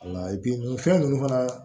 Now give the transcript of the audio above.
fɛn ninnu fana